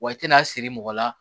Wa i tɛna siri mɔgɔ la